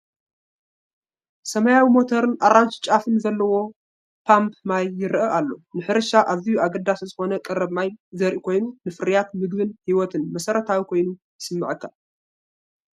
ሰማያዊ ሞተርን ኣራንሺ ጫፉን ዘለዎ ፓምፕ ማይ ይረኣይ ኣሎ። ንሕርሻ ኣዝዩ ኣገዳሲ ዝኾነ ቀረብ ማይ ዘርኢ ኮይኑ፡ ንፍርያት መግብን ህይወትን መሰረታዊ ኮይኑ ይስማዓካ፡፡